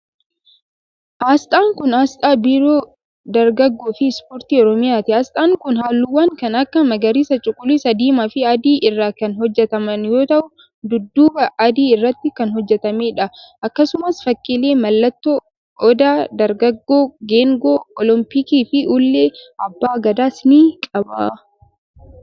Asxaan kun, asxaa biiroo dargaggoo fi ispoortii Oromiyaati. Asxaan kun haalluuwwan kan akka : magariisa, cuquliisa, diimaa fi adii irraa kan hojjataman yoo ta'u, dudduuba adii irratti kan hojjatamee dha. Akkasumas, fakkiilee mallattoo :odaa, dargaggoo, geengoo olompiikii fi ulee abbaa gadaas ni qaba.